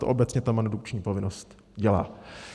To obecně ta mandukční povinnost dělá.